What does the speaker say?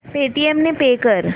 Paytm ने pay कर